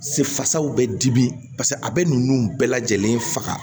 Se fasaw bɛ dimi a bɛ ninnu bɛɛ lajɛlen faga